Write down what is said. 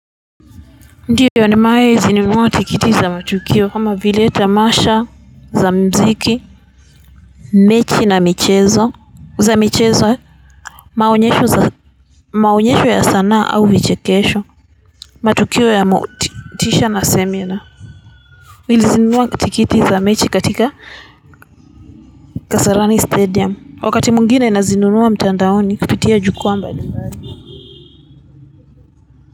Ndio nimewahi zinunua tikiti za matukio kama vile tamasha za mziki mechi na michezo za michezo maonyesho za maonyesho ya sanaa au vichekesho matukio ya motisha na semina nilizinunua tikiti za mechi katika kasarani stadium wakati mwingine nazinunua mtandaoni kupitia jukwaa mbali mbali.